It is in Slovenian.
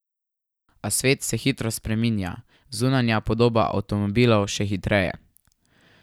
A svet se hitro spreminja, zunanja podoba avtomobilov še hitreje.